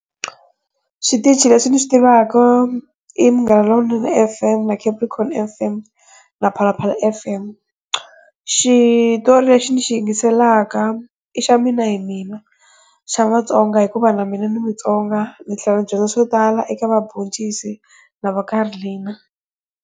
Switichi leswi ni swi tivaku i Munghana Lonene FM na Capricorn FM na Phalaphala FM. Xitori lexi ni xi yingiselaka i xa Mina hi Mina hi Mina xa Vatsonga hikuva na mina ndzi mutsonga, ndzi tlhela ni dyondza swo tala eka va Boncisi na Karlin.